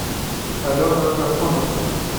алена агафонова